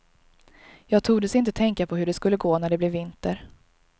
Jag tordes inte tänka på hur det skulle gå när det blev vinter.